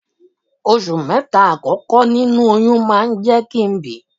Oṣù mẹ́ta àkọ́kọ́ nínú oyún máa ń jẹ́ kí n bi.